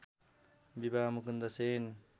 विवाह मुकुन्द सेन